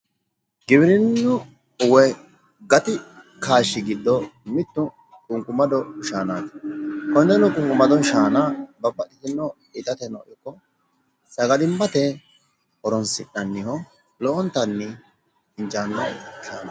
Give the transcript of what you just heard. Giwirinnu woyi gati kaashshi giddo mittu qunqumado shaanaati. konneno qunqumado shaana babbaxxitino itateno ikko sagalimmate horonsi'nanniho lowontanni injaanno.